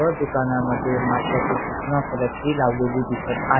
व दुकानामध्ये माश्याचे सूचना फलक हे लावलेले दिसत आ--